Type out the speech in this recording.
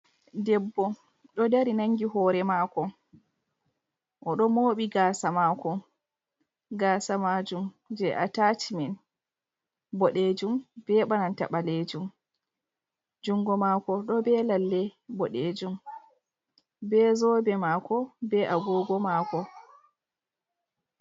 Debbo ɗo dari nangi hore maako. O ɗo mooɓi gaasa maako, gasa maajum je a tacimen boɗeejum be bananta ɓaleejum. Jungo maako ɗo be lalle boɗeejum, be zobe maako, be agogo maako.